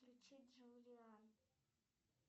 включить джулиан